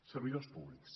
servidors públics